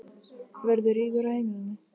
Verður rígur á heimilinu?